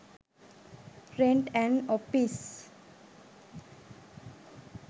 rent an office